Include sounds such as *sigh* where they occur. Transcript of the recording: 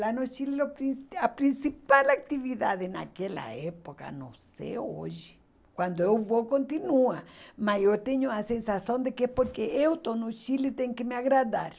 Lá no Chile *unintelligible* a principal atividade naquela época, não sei hoje, quando eu vou continua, mas eu tenho a sensação de que é porque eu estou no Chile tem que me agradar.